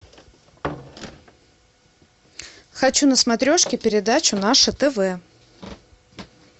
хочу на смотрешке передачу наше тв